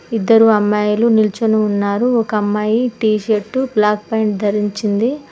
ఇద్దరు అమ్మాయిలు నిలుచొని ఉన్నారు ఒక అమ్మాయి టీషర్టు బ్లాక్ పాంట్ ధరించింది.